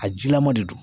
A jilama de don